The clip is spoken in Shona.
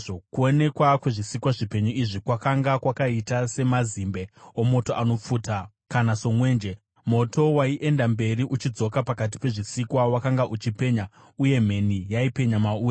Kuonekwa kwezvisikwa zvipenyu izvi kwakanga kwakaita samazimbe omoto anopfuta, kana somwenje. Moto waienda mberi uchidzoka pakati pezvisikwa; wakanga uchipenya, uye mheni yaipenya mauri.